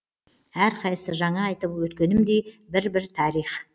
әрқайсысы жаңа айтып өткенімдей бір бір тарих